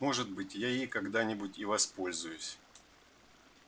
может быть я ей когда-нибудь и воспользуюсь